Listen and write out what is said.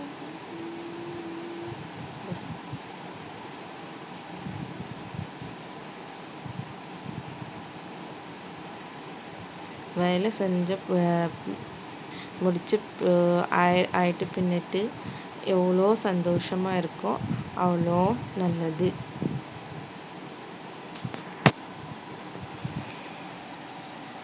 வேலை செஞ்சு அஹ் முடிச்சி~ ஆயி~ ஆயிட்டு பின்னிட்டு எவ்ளோ சந்தோஷமா இருக்கோம் அவ்ளோ நல்லது